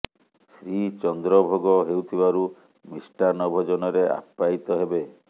ଶ୍ରୀ ଚନ୍ଦ୍ର ଭୋଗ ହେଉଥିବାରୁ ମିଷ୍ଟାନ୍ନ ଭୋଜନରେ ଆପ୍ୟାୟିତ ହେବେ